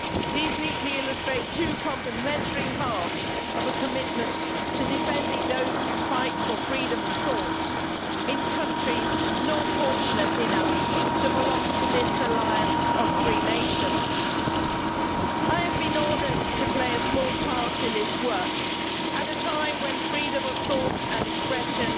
These neatly illustrate two complementary halves of a commitment to defending those who fight for freedom of thought in countries not fortunate enough to belong to this alliance of free nations. I have been honoured to play a small part in this work, at a time when freedom of thought and expression